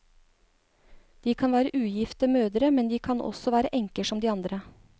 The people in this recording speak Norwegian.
De kan være ugifte mødre, men de kan også være enker som de andre.